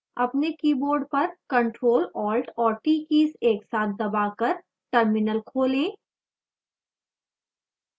अपने keyboard पर ctrl alt और t कीज एक साथ दबाकर terminal खोलें